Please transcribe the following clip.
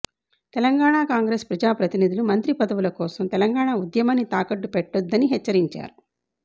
Telangana Congress ప్రజాప్రతినిధులు మంత్రి పదవుల కోసం తెలంగాణ ఉద్యమాన్ని తాకట్టు పెట్టొద్దని హెచ్చరించారు